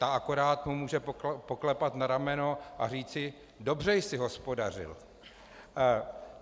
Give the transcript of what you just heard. Ta mu akorát může poklepat na rameno a říci: "Dobře jsi hospodařil."